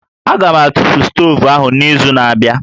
Aga m atụfu stovu ahụ n'izu na-abịa